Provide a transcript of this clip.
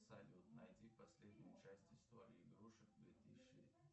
салют найди последнюю часть истории игрушек две тысячи